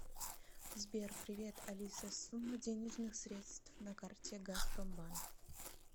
сбер привет алиса сумма денежных средств на карте газпромбанк